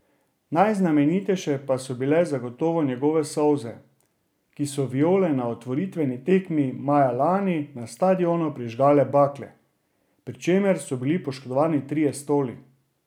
Najznamenitejše pa so bile zagotovo njegove solze, ko so Viole na otvoritveni tekmi maja lani na stadionu prižgale bakle, pri čemer so bili poškodovani trije stoli.